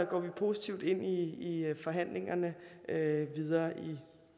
går vi positivt ind i forhandlingerne videre i